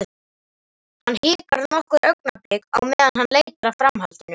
Hann hikar nokkur augnablik á meðan hann leitar að framhaldinu.